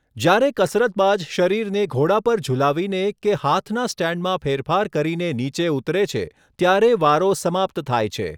જ્યારે કસરતબાજ શરીરને ઘોડા પર ઝૂલાવીને કે હાથનાં સ્ટૅન્ડમાં ફેરફાર કરીને નીચે ઉતરે છે, ત્યારે વારો સમાપ્ત થાય છે.